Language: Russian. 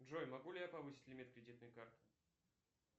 джой могу ли я повысить лимит кредитной карты